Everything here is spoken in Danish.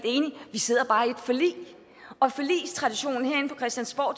vi sidder bare i et forlig og forligstraditionen herinde på christiansborg